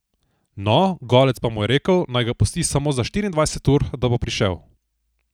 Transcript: No, Golec pa mu je rekel, naj ga pusti samo za štiriindvajset ur, da bo prišel.